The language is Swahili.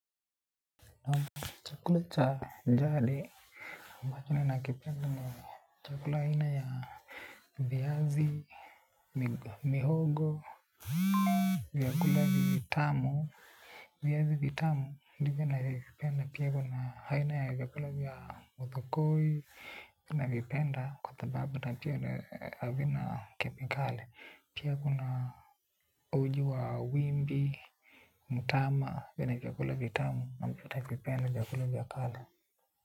Chakula cha jadi, ambacho ninakipenda ni chakula aina ya viazi, mihogo, vyakula vitamu. Viazi vitamu, ndivyo navyo vipenda pia kuna aina ya vyakula vya muthokoi. Navipenda kwa sababu na pia havina kemikali. Pia kuna uji wa wimbi, mutama, vena vyakula vitamu navipenda vyakula vya kale.